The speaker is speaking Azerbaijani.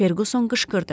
Ferquson qışqırdı.